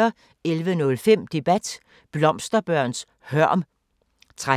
11:05: Debat: Blomsterbørns hørm 13:05: